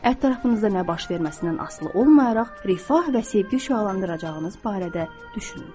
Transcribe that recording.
Ətrafınızda nə baş verməsindən asılı olmayaraq rifah və sevgi şüalandıracağınız barədə düşünün.